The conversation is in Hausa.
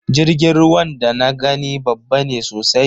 Jirgin ruwan da na gani babba ne sosai